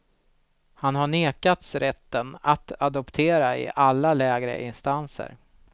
Han har nekats rätten att adoptera i alla lägre instanser.